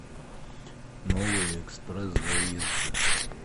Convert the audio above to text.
новые экспресс заезды